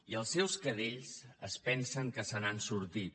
i els seus cadells es pensen que se n’han sortit